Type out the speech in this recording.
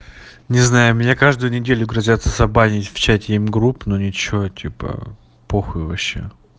не знаю меня каждую неделю грозяться забанить в чате м-групп но ничего типа похуй вообще